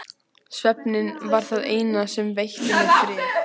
Svefninn var það eina sem veitti mér frið.